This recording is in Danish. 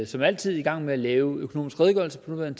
som altid i gang med at lave økonomisk redegørelse sådan